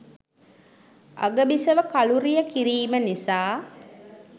අගබිසව කළුරිය කිරීම නිසා